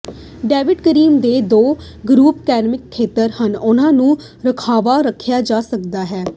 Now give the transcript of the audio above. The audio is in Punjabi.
ਡੇਵਿਸ ਕਰੀਕ ਦੇ ਦੋ ਗਰੁੱਪ ਕੈਪਿੰਗ ਖੇਤਰ ਹਨ ਜਿਨ੍ਹਾਂ ਨੂੰ ਰਾਖਵਾਂ ਰੱਖਿਆ ਜਾ ਸਕਦਾ ਹੈ